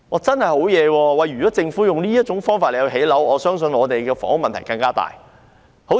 真是厲害，如果政府用這種方法來建屋，我相信房屋問題會更嚴重。